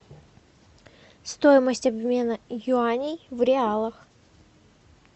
стоимость обмена юаней в реалах